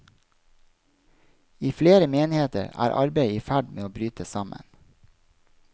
I flere menigheter er arbeidet i ferd med å bryte sammen.